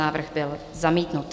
Návrh byl zamítnut.